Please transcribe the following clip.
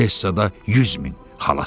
Odessada yüz min.